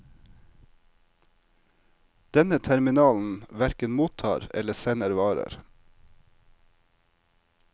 Denne terminalen hverken mottar eller sender varer.